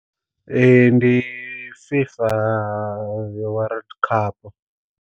Ee ndi FIFA World Cup.